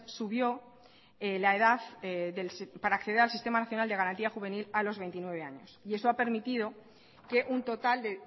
subió la edad para acceder al sistema nacional de garantía juvenil a los veintinueve años y eso ha permitido que un total de